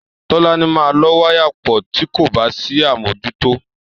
Tọ́láni máa lọ́ wáyà pọ̀ tí kò bá sí àmójútó.